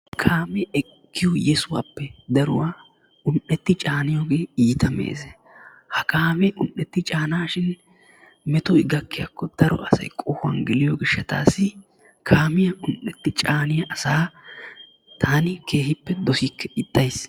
Kaamee ekkiyo yessuwappe daruwaa un''eti caaniyooge iitta meeze. Ha kaamee un''eetti caanashin metoy gakkiyaakko daro asay qohuwan geliyo gishshatassi kaamiyaa un''etti caaniyaa asaa taani keehippe dossikke ixxays.